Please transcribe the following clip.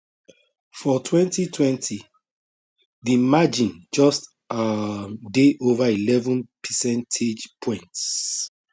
for 2020 di margin just um dey ova eleven percentage points